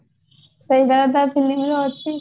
ସେଇ ଗାଁ ବା film ରେ ଅଛି